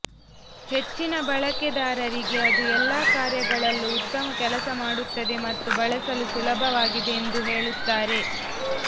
ಹೆಚ್ಚಿನ ಬಳಕೆದಾರರಿಗೆ ಅದು ಎಲ್ಲಾ ಕಾರ್ಯಗಳಲ್ಲೂ ಉತ್ತಮ ಕೆಲಸ ಮಾಡುತ್ತದೆ ಮತ್ತು ಬಳಸಲು ಸುಲಭವಾಗಿದೆ ಎಂದು ಹೇಳುತ್ತಾರೆ